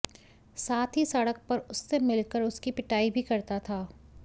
साथ ही सड़क पर उससे मिलकर उसकी पिटाई भी करता था